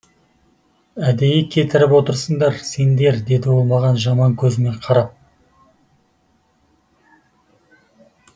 әдейі кетіріп отырсыңдар сендер деді ол маған жаман көзімен қарап